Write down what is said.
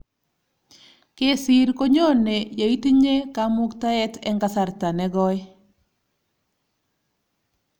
Kesir konyone yeitinye kamuktaet eng kasarta ne koi